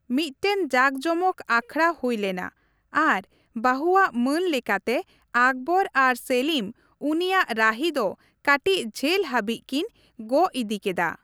ᱢᱤᱫᱴᱮᱱ ᱡᱟᱠᱼᱡᱚᱢᱚᱠ ᱟᱠᱷᱟᱲᱟ ᱦᱩᱭᱞᱮᱱᱟ ᱟᱨ ᱵᱟᱹᱦᱩᱣᱟᱜ ᱢᱟᱹᱱ ᱞᱮᱠᱟᱛᱮ ᱟᱠᱵᱚᱨ ᱟᱨ ᱥᱮᱞᱤᱢ ᱩᱱᱤᱭᱟᱜ ᱨᱟᱹᱦᱤ ᱫᱚ ᱠᱟᱹᱴᱤᱡ ᱡᱷᱟᱹᱞ ᱦᱟᱹᱵᱤᱡ ᱠᱤᱱ ᱜᱚᱜ ᱤᱫᱤ ᱠᱮᱫᱟ ᱾